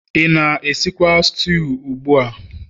ị na-esikwa stew ugbu a?